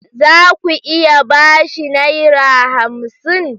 Za ku iya ba shi Naira hamsin?